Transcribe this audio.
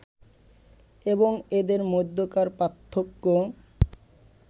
এবং এদের মধ্যকার পার্থক্য